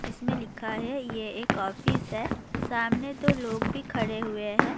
اس میں لکھا ہے یہ ایک افس ہے سامنے دو لوگ بھی کھڑے ہوئے ہیں-